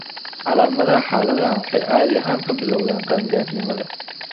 Calaamadaha xaaladdan waxay caadi ahaan ka bilowdaan qaangaarnimada.